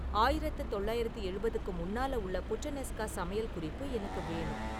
ஆயிரத்தி தொள்ளாயிரத்தி எழுபதுக்கு முன்னால உள்ள புட்டனெஸ்கா சமையல் குறிப்பு எனக்கு வேணும்